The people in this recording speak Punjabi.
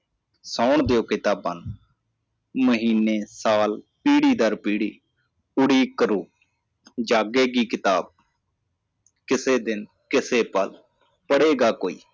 ਸੌਣ ਦਿਯੋ ਕਿਤਾਬਾਂ ਨੂੰ ਮਹੀਨੇ ਸਾਲ ਪੀੜੀ ਦਰ ਪੀੜੀ ਉਡੀਕ ਕਰੋ ਜਾਗੇਗੀ ਕਿਤਾਬ ਕਿਸੇ ਦਿਨ ਕਿਸੇ ਪਲ ਪੜੇਗਾ ਕੋਈ